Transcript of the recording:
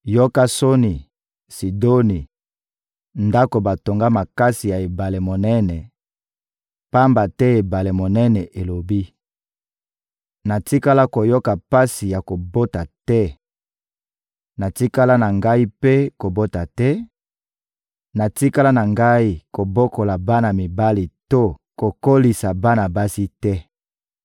Yoka soni, Sidoni, ndako batonga makasi ya ebale monene, pamba te ebale monene elobi: «Natikala koyoka pasi ya kobota te, natikala na ngai mpe kobota te, natikala na ngai kobokola bana mibali to kokolisa bana basi te.»